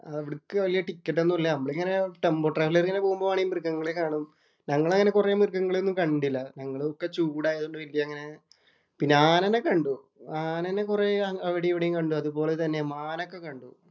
അവിടേക്ക് വലിയ ടിക്കറ്റ് ഒന്നും ഇല്ല. നമ്മള് ഇങ്ങനെ ടെമ്പോ ഡ്രൈവില്‍ ഏറി ഇങ്ങനെ പോവുകയാണെങ്കി ഇങ്ങനെ മൃഗങ്ങളെ കാണും. ഞങ്ങള് അങ്ങനെ കൊറേ മൃഗങ്ങളെയൊന്നും കണ്ടില്ല. ഞങ്ങള് ഒക്കെ ചൂടായോണ്ട് അങ്ങനെ പിന്നെ ആനേനെ കണ്ടു. ആനേനെ കൊറേ അവിടേം ഇവിടേം കണ്ടു. അതുപോലെ തന്നെ മാനൊക്കെ കണ്ടു.